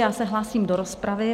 Já se hlásím do rozpravy.